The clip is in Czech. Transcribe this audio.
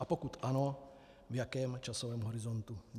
A pokud ano, v jakém časovém horizontu.